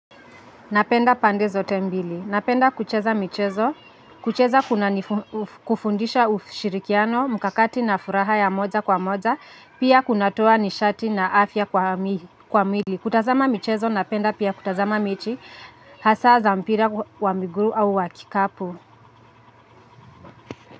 Napenda pande zote mbili. Napenda kucheza michezo. Kucheza kuna kufundisha ushirikiano mkakati na furaha ya moja kwa moja. Pia kunatoa nishati na afya kwa mwili. Kutazama michezo napenda pia kutazama mechi hasa za mpira wa miguu au wa kikapu.